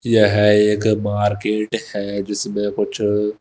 यह एक मार्केट है जिसमें कुछ--